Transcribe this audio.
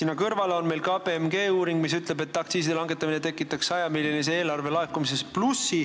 Aga konsultatsioonifirma KPMG uuring ütleb, et aktsiiside langetamine tekitaks eelarvesse 100-miljonilise lisalaekumise.